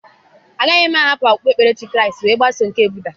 Agaghị m ahapụ okpukperechi Kraịst wee gbaso nke Buda.